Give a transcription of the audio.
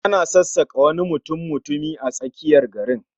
An sassaka wani mutummutumi a tsakiyar garin